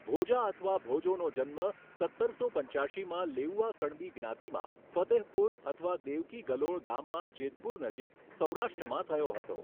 ભોજા અથવા ભોજોનો જન્મ સત્તરસો પંચ્યાશીમાં લેઉઆ કણબી જ્ઞાતિમાં ફતેહપુર અથવા દેવકી ગલોળ ગામમાં જેતપુર નજીક સૌરાષ્ટ્રમાં થયો હતો.